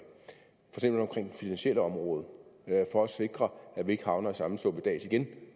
finansielle område for at sikre at vi ikke havner i samme suppedas igen